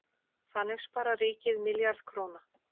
Þannig sparar ríkið milljarð króna.